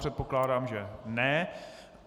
Předpokládám, že ne.